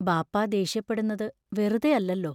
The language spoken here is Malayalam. ബാപ്പാ ദേഷ്യപ്പെടുന്നതു വെറുതെയല്ലല്ലോ.